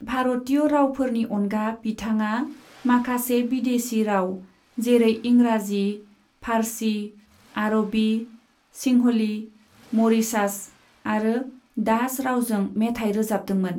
भारतीय रावफोरनि अनगा बिथाङा माखासे बिदेशी राव, जेरै इंराजी, फार्सी, आरबी, सिंहली, म'रीशास और डाच रावजों मेथाइ रोजाबदोंमोन।